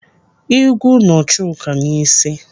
Ị́gwụ́ nọ Chuka n'isi.